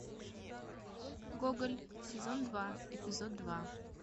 гоголь сезон два эпизод два